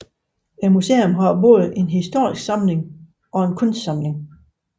Museet har både en historisk samling og en kunstsamling